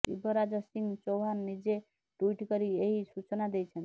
ଶିବରାଜ ସିଂ ଚୌହାନ ନିଜେ ଟୁଇଟ କରି ଏହି ସୂଚନା ଦେଇଛନ୍ତି